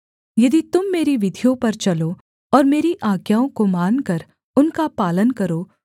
यदि तुम मेरी विधियों पर चलो और मेरी आज्ञाओं को मानकर उनका पालन करो